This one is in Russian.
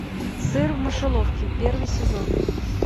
сыр в мышеловке первый сезон